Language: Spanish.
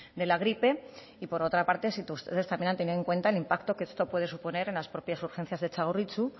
de la gripe y por otro parte si ustedes también han tenido en cuenta el impacto que esto puede suponer en las propias urgencias de txagorritxu